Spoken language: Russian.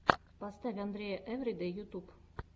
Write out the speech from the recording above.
поставь андрея эвридэй ютюб